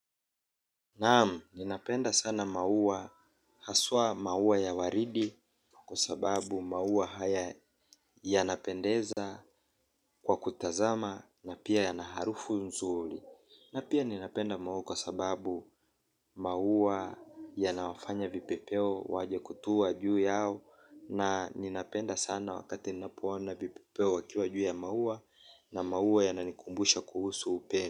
Naam, ninapenda sana maua haswa maua ya waridi kwa sababu maua haya yanapendeza kwa kutazama na pia yana harufu nzuri. Na pia ninapenda maua kwa sababu maua yanawafanya vipepeo waje kutua juu yao na ninapenda sana wakati ninapoona vipepeo wakiwa juu ya maua na maua yananikumbusha kuhusu upendo.